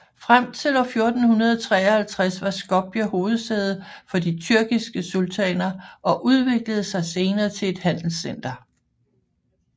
Frem til år 1453 var Skopje hovedsæde for de tyrkiske sultaner og udviklede sig senere til et handelscenter